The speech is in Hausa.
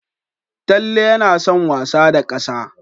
Talle yana son wasa da ƙasa.